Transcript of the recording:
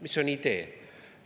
Mis on idee?